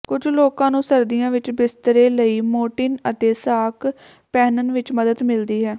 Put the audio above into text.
ਕੁਝ ਲੋਕਾਂ ਨੂੰ ਸਰਦੀਆਂ ਵਿਚ ਬਿਸਤਰੇ ਲਈ ਮੋਟੀਨ ਅਤੇ ਸਾਕ ਪਹਿਨਣ ਵਿਚ ਮਦਦ ਮਿਲਦੀ ਹੈ